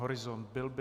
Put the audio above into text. Horizont byl by?